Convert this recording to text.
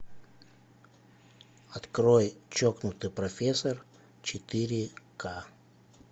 открой чокнутый профессор четыре ка